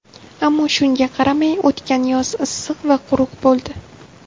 Ammo shunga qaramay, o‘tgan yoz issiq va quruq bo‘ldi.